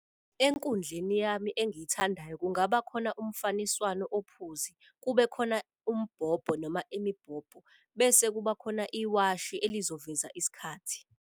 Enkundleni yami engiyithandayo kungaba khona umfaniswano ophuzi. Kube khona umbhobho noma imibhobho, bese kuba khona iwashi elizoveza isikhathi.